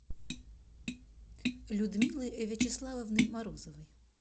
людмилы вячеславовны морозовой